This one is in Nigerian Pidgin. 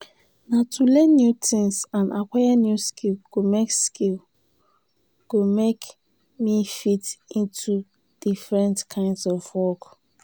na to learn new tings and aquire new skills go make skills go make me fit into different kinds of work.